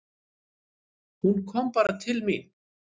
Hún kom bara til mín.